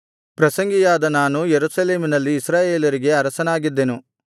ಪ್ರಸಂಗಿಯಾದ ನಾನು ಯೆರೂಸಲೇಮಿನಲ್ಲಿ ಇಸ್ರಾಯೇಲರಿಗೆ ಅರಸನಾಗಿದ್ದೆನು